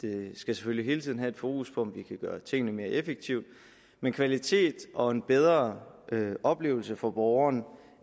vi skal selvfølgelig hele tiden have et fokus på om vi kan gøre tingene mere effektivt men kvalitet og en bedre oplevelse for borgerne